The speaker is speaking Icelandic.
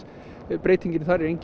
breytingin þar er engin